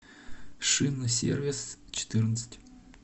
шинсервисчетырнадцать